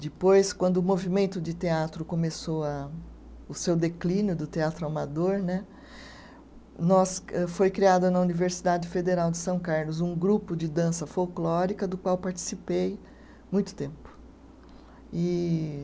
Depois, quando o movimento de teatro começou a, o seu declínio do Teatro Amador né, nós eh, foi criada na Universidade Federal de São Carlos um grupo de dança folclórica do qual participei muito tempo.